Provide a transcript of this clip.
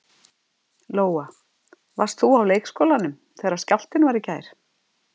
Lóa: Varst þú á leikskólanum þegar skjálftinn var í gær?